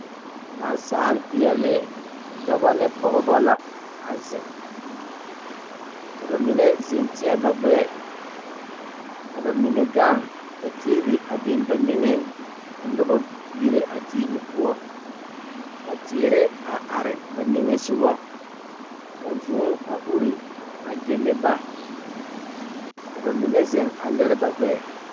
Naasaapeɛle dɔbɔ ne pɔgebɔ la a zeŋ ka ba mine zeŋ teɛ ba gbɛɛ ka ba mine gaŋ ka teevi a biŋ ba niŋeŋ ka nobɔ yire a teevi poɔ ka teere a are ba niŋesugɔ ka vūū a ure a gyiire ba ka ba mine zeŋ a lire ba gbɛɛ.